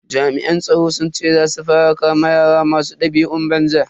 Jami'an tsaro sun ce za su fara kama yara masu dabi'un banza.